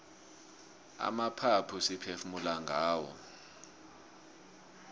amaphaphu siphefumula ngawo